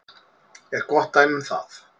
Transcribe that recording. er gott dæmi um það.